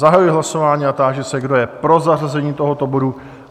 Zahajuji hlasování a táži se, kdo je pro zařazení tohoto bodu?